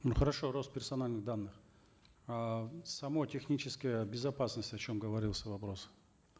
ну хорошо рост персональных данных а сама техническая безопасность о чем говорился вопрос